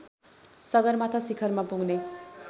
सगरमाथा शिखरमा पुग्ने